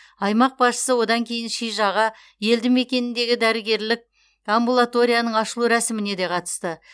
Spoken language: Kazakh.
аймақ басшысы одан кейін шижаға елді мекеніндегі дәрігерлік амбулаторияның ашылу рәсіміне де қатысты